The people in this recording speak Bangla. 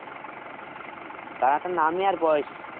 দাদাটার নাম আর বয়েস